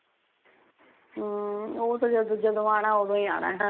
ਹਮ ਉਹ ਤਾ ਜਦੋ ਆਉਣਾ ਓਦੋ ਆਉਣਾ ਹੀ ਆ